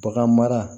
Bagan mara